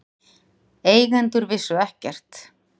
Eigendur vissu ekkert